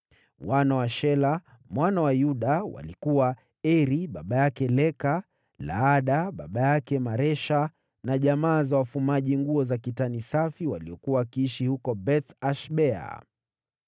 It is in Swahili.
Wana wa Shela, mwana wa Yuda, walikuwa: Eri baba yake Leka, Laada baba yake Maresha na jamaa za wafumaji nguo za kitani safi waliokuwa wakiishi huko Beth-Ashbea,